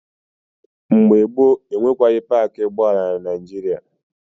Mgbe gboo, enweghị paakị ụgbọala na Naịjịrịa.